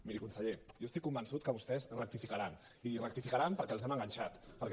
miri conseller jo estic convençut que vostès rectificaran i rectificaran perquè els hem enganxat perquè